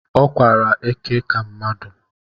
Ọ kwara eke ka mmadụ